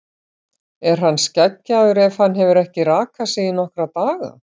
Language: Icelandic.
Er hann skeggjaður ef hann hefur ekki rakað sig í nokkra daga?